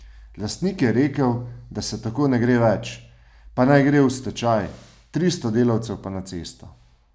Lastnik je rekel, da se tako ne gre več, pa naj gre v stečaj, tristo delavcev pa na cesto.